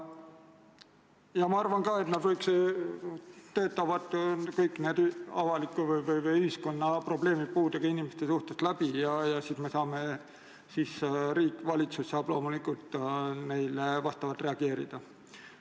Ma arvan ka, et nad töötavad kõik need ühiskonna probleemid seoses puudega inimestega läbi ja siis riik, valitsus, saab loomulikult neile vastavalt reageerida.